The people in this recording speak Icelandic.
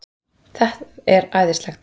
Það er æðislegt.